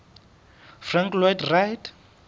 frank lloyd wright